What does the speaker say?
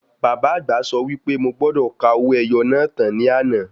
Bàbá àgbà sọ wí pé mo gbọ́dọ̀ ka owó ẹyọ náà tán ní àná.